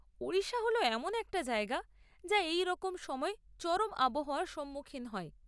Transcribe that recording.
ওড়িশা হল এমন একটা জায়গা যা এইরকম সময় চরম আবহাওয়ার সম্মুখীন হয়।